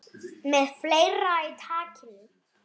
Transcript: Við ræðum nudd um stund.